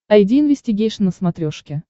айди инвестигейшн на смотрешке